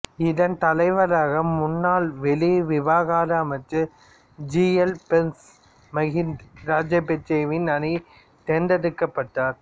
இதன் தலைவராக முன்னாள் வெளிவிவகார அமைச்சர் ஜி எல் பீரிஸ் மகிந்த ராஜபக்சவின் அணி தேர்ந்தெடுக்கப்பட்டார்